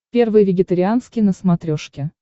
первый вегетарианский на смотрешке